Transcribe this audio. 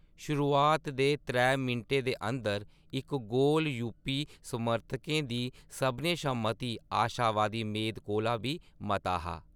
शुरुआत दे त्रै मिंटें दे अंदर इक गोल यूपी समर्थकें दी सभनें शा मती आशावादी मेद कोला बी मता हा।